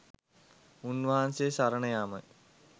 උන්වහන්සේ සරණ යාමය.